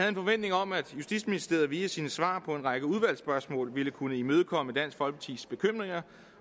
en forventning om at justitsministeriet via sine svar på en række udvalgsspørgsmål ville kunne imødekomme dansk folkepartis bekymringer